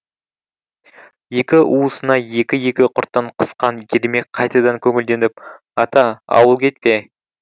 екі уысына екі екі құрттан қысқан ермек қайтадан көңілденіп ата ауыл кетпе